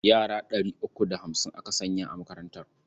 Yara ɗari uku da hamsin aka sanya a makarantar.